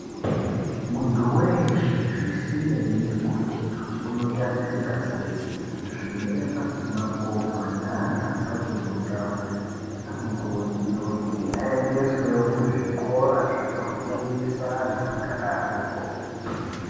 Muntu weshe zvisinei nekuti unotarisika sei, zvirema, mapofu ndeantu asikakoni kugara anokurudzirwa kuti aendeswewo kuzvikora zvinofundisa antu akadarokwo.